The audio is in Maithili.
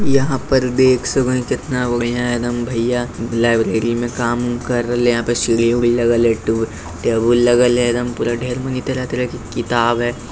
यहाँ पर डेस्क केतना बढ़िया एकदम भइया लाइब्रेरी में काम कर रहले है। यहाँ पर सीढ़ी-उढ़ी लगल है। टेबु टेबल लगल है। एकदम पूरा ढ़ेर मानी तरह-तरह की किताब है।